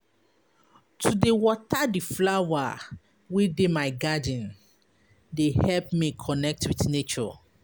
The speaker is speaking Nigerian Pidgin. To dey water di flower wey dey my garden dey help me connect wit nature.